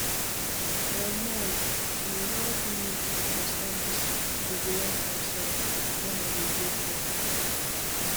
my malle help me understand this ovarian cancer when i dey go through am